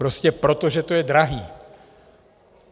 Prostě proto, že to je drahé!